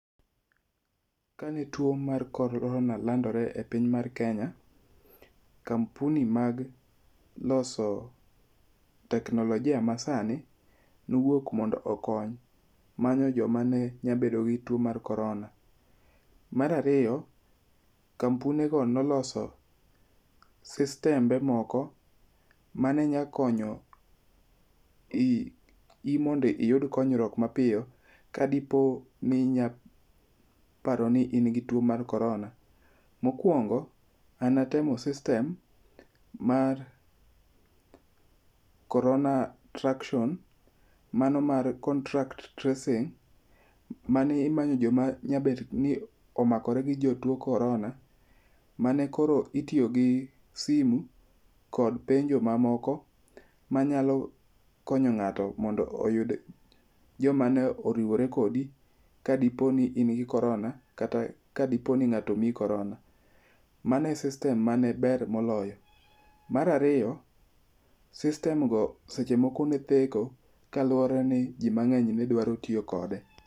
kane tuo mar korona landore e piny mar kenya, kampuni mag loso teknolojia masani, nowuok mondo omany joma ne nyalo bedo gi tuo ma korona, mar ariyo kampuni go nolo systembe moko mane nyalo konyo i mondo iyud konyruok mapiyo kadipo ni nya paro ni in gi tuo mar korona, mokuongo na natemo system mar korona traction mano mar contact tracing mano mar joma ne nyaedo ni omakre gi joma ni gi tuo mar korona mane koro itiyo gi simu kod penjo mamoko manyalo konyo ng'ato mondo oyud joma ne oriwore kodi ka diponi in gi korona kata ka diponi ng'ato omiyi korona, mano e system mane ber moloyo, mar ariyo system go seche moko ne theko kaluwore ni ji mang'eny ne dwaro tiyo kod gi.